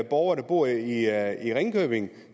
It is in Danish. borgere der bor i i ringkøbing